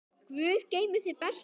Guð geymi þig, besti minn.